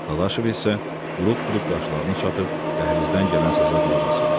Dadaşov isə buruq-buruq qaşlarını çatıb dəhlizdən gələn səsə qulaqasırdı.